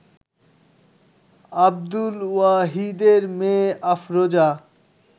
আব্দুল ওয়াহিদের মেয়ে আফরোজা